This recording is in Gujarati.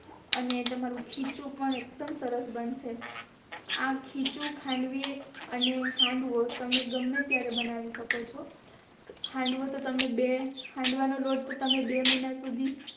અને તમારું ખીચું પણ એકડું સરસ બનશે આ ખીચું ખાંડવી અને હાંડવો તમે ગમે ત્યારે બનાવી સકો છો હાંડવો તો તમે બે હાંડવા નો લોટ તો તમે બે મહિના સુધી